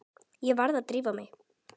Ég varð að drífa mig.